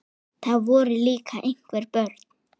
Það voru líka einhver börn.